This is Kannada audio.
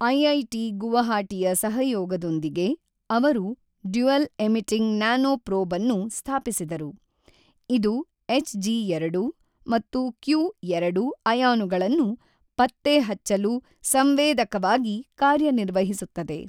ಐಐಟಿ ಗುವಾಹಟಿಯ ಸಹಯೋಗದೊಂದಿಗೆ, ಅವರು ಡ್ಯುಯಲ್ ಎಮಿಟಿಂಗ್ ನ್ಯಾನೊಪ್ರೊಬ್ ಅನ್ನು ಸ್ಥಾಪಿಸಿದರು, ಇದು ಎಚ್ಜಿ ಎರಡು ಮತ್ತು ಕ್ಯು ಎರಡು ಅಯಾನುಗಳನ್ನು ಪತ್ತೆಹಚ್ಚಲು ಸಂವೇದಕವಾಗಿ ಕಾರ್ಯನಿರ್ವಹಿಸುತ್ತದೆ.